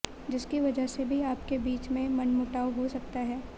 जिसकी वजह से भी आपके बीच में मनमुटाव हो सकता है